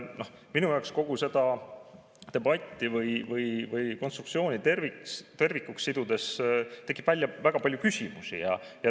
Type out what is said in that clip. Minul tekib kogu seda debatti või konstruktsiooni tervikuks sidudes väga palju küsimusi.